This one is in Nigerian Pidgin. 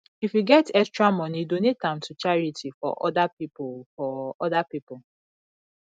if yu get extra moni donate am to charity for oda pipo for oda pipo